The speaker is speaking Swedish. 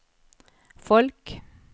folk